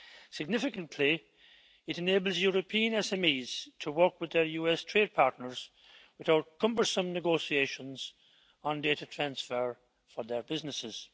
Significantly, it enables European SMEs to work with their US trade partners, without cumbersome negotiations on data transfer for their businesses.